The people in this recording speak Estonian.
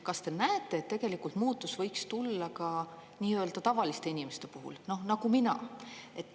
Kas te näete, et tegelikult muutus võiks tulla ka nii-öelda tavaliste inimeste puhul nagu mina?